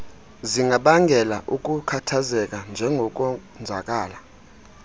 zingabangela ukukhathazeka njengokonzakala